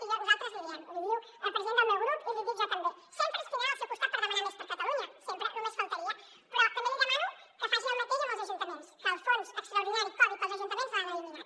i nosaltres li diem l’hi diu el president del meu grup i l’hi dic jo també sempre ens tindrà al seu costat per demanar més per a catalunya sempre només faltaria però també li demano que faci el mateix amb els ajuntaments que el fons extraordinari covid per als ajuntaments l’han eliminat